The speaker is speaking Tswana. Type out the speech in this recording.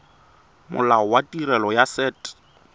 molao wa tirelo ya set